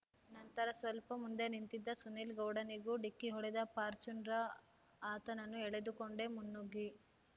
ನಂತರ ಸ್ವಲ್ಪ ಮುಂದೆ ನಿಂತಿದ್ದ ಸುನಿಲ್‌ಗೌಡನಿಗೂ ಡಿಕ್ಕಿ ಹೊಡೆದ ಫಾರ್ಚುನರ ಆತನನ್ನು ಎಳೆದುಕೊಂಡೇ ಮುನ್ನುಗ್ಗಿ